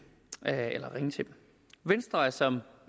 venstre er som